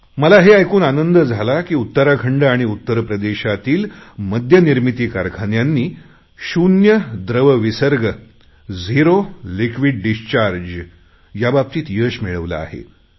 मला हे ऐकून आनंद झाला की उत्तराखंड आणि उत्तर प्रदेशातील मद्यनिर्मिती कारखान्यांनी शून्य द्रव विसर्ग झेरो लिक्विड डिस्चार्ज याबाबतीत यश मिळवले आहे